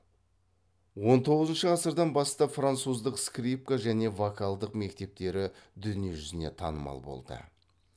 он тоғызыншы ғасырдан бастап француздық скрипка және вокалдық мектептері дүние жүзіне танымал болды